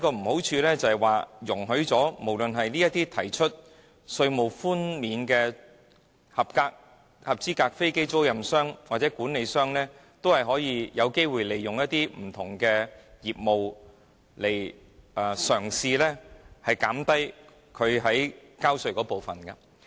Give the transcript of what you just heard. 如此的話，便是為一些提出稅務寬免的合資格飛機租賃商或管理商提供機會，容許他們利用不同業務嘗試令應繳稅款減低。